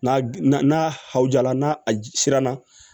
N'a na n'a haw jala n'a a siranna